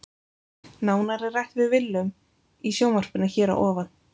Nánar er rætt við Willum í sjónvarpinu hér að ofan.